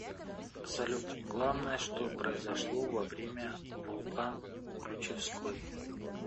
салют главное что произошло во время вулкан ключевской